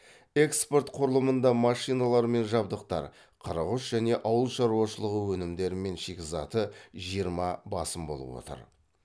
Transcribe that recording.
экспорт құрылымында машиналар мен жабдықтар қырық үш және ауыл шаруашылығы өнімдері мен шикізаты жиырма басым болып отыр